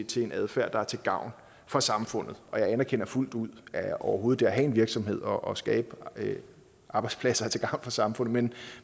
til en adfærd der er til gavn for samfundet og jeg anerkender fuldt ud at overhovedet det at have en virksomhed og skabe arbejdspladser er til gavn for samfundet men